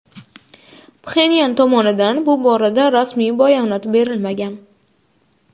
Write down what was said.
Pxenyan tomonidan bu borada rasmiy bayonot berilmagan.